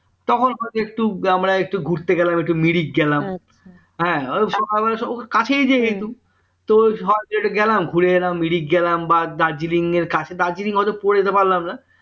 তখন হয়তো একটু আমরা ঘুরতে গেলাম একটু মিরিক গেলাম হ্যাঁ সকালবেলা কাছেই যেহেতু তো সহজ একটু গেলাম ঘুরে এলাম মিরিক গেলাম বা দার্জিলিং এর কাছে দার্জিলিং হয়তো পড়ে যেতে পারলাম না